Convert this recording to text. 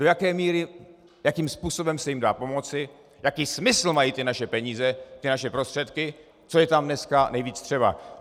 Do jaké míry, jakým způsobem se jim dá pomoci, jaký smysl mají ty naše peníze, ty naše prostředky, co je tam dneska nejvíc třeba.